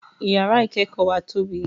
Yàrá ìkẹ́kọ̀ọ́ wa tóbi